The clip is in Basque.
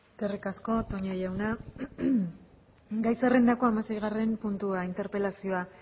eskerrik asko toña jauna gai zerrendako hamaseigarren puntuan interpelazioa